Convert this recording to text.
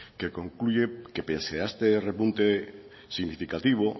que concluye que pese a este repunte significativo